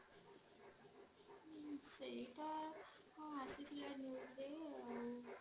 ହଁ ସେଇଟା ହଁ ଆସିଥିଲା newsରେ ଆଂ